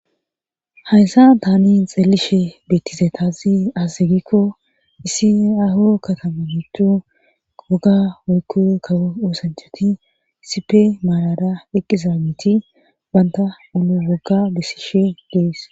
hayssa taani xeelishe beettise taasi assegikko isi aho katamanotu woga woykko kawo oosanchoti sipe maalada eqqiza giti banta ulo wogga bessishe gees